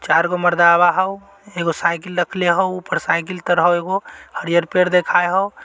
चार गो मर्दवा हउ एगो साइकिल रखले हउ ऊपर साइकिल तर हउ एगो हरियर पेड़ दिखये हाउ।